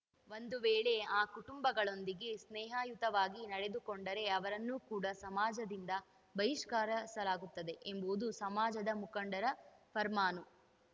ಒಂದು ವೇಳೆ ಆ ಕುಟುಂಬಗಳೊಂದಿಗೆ ಸ್ನೇಹಯುತವಾಗಿ ನಡೆದುಕೊಂಡರೆ ಅವರನ್ನು ಕೂಡ ಸಮಾಜದಿಂದ ಬಹಿಷ್ಕರಿಸಲಾಗುತ್ತದೆ ಎಂಬುವುದು ಸಮಾಜದ ಮುಖಂಡರ ಫರ್ಮಾನು